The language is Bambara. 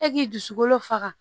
E k'i dusukolo faga